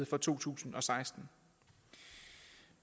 for to tusind og seksten